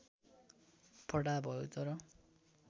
फटाहा भयौ तर